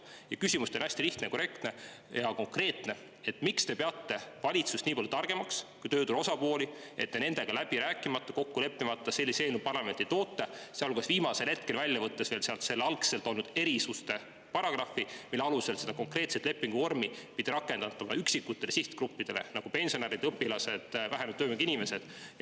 Mu küsimus teile on hästi lihtne ja konkreetne: miks te peate valitsust nii palju targemaks kui tööturu osapooli, et te nendega läbi rääkimata ja kokku leppimata sellise eelnõu parlamenti toote, sealjuures viimasel hetkel sealt välja võttes algse erisuste paragrahvi, mille alusel seda konkreetset lepinguvormi pidi rakendatama üksikutele sihtgruppidele, nagu pensionärid, õpilased, vähenenud töövõimega inimesed?